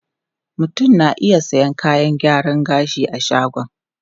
Mutum na iya sayan kayan gyaran gashi a shagon.